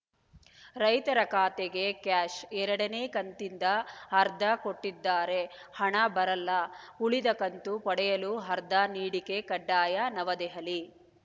ರೈತರ ಖಾತೆಗೆ ಕ್ಯಾಷ್‌ ಎರಡನೇ ಕಂತಿಂದ ಆಧಾರ್‌ ಕೊಡದಿದ್ದರೆ ಹಣ ಬರಲ್ಲ ಉಳಿದ ಕಂತು ಪಡೆಯಲು ಅರ್ಧ ನೀಡಿಕೆ ಕಡ್ಡಾಯ ನವದೆಹಲಿ